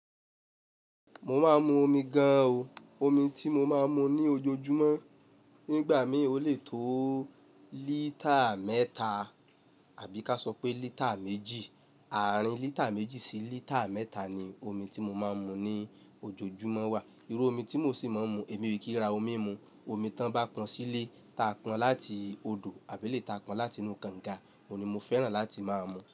Mo máa ń mu omi gan o. Omi tí mo máa ń mu ní ojoojúmọ́, nígbà mí ò lé tó lítà mẹ́ta àbí ká sọ pé lítà méjì. Àárín lítà méjì sí lítà mẹ́ta ni omi tí mo máa ń mu ní ojoojúmọ́ wà. Irú omi tí mo sì máa ń mu, èmi ò kí ra omi mu. Omi tí wọ́n bá pọn sílé, ta pọn láti odò àbí elèyi ta pọn láti inú kànga, òun ni mo fẹ́ràn láti máa mu.